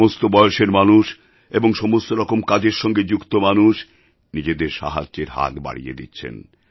সমস্ত বয়সের মানুষ এবং সমস্তরকম কাজের সঙ্গে যুক্ত মানুষ নিজেদের সাহায্যের হাত বাড়িয়ে দিচ্ছেন